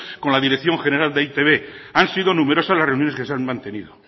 con la dirección general de e i te be han sido numerosas las reuniones que se han mantenido